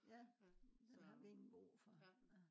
ja den har ikke brug for ja